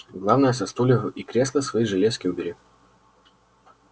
главное со стульев и кресла свои железки убери